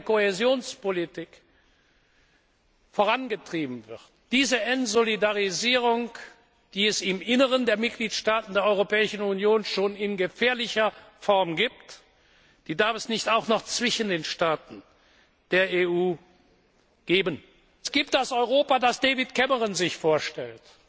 z. B. in der Kohäsionspolitik vorangetrieben wird. Diese Entsolidarisierung, die es im Inneren der Mitgliedstaaten der Europäischen Union schon in gefährlicher Form gibt, darf es nicht auch noch zwischen den Staaten der EU geben. Es gibt das Europa, das David Cameron sich